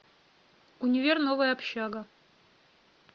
универ новая общага